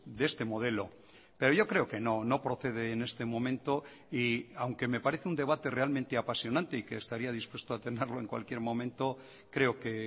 de este modelo pero yo creo que no no procede en este momento y aunque me parece un debate realmente apasionante y que estaría dispuesto a tenerlo en cualquier momento creo que